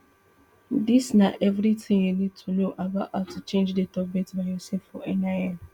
dis na eviritin you need to know about how to change date of birth by yourself for nin